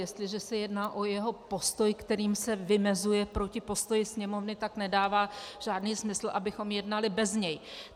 Jestliže se jedná o jeho postoj, kterým se vymezuje proti postoji Sněmovny, tak nedává žádný smysl, abychom jednali bez něj.